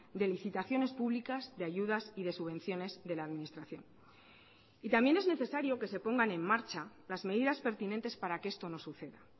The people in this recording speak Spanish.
de licitaciones públicas de ayudas y de subvenciones de la administración y también es necesario que se pongan en marcha las medidas pertinentes para que esto no suceda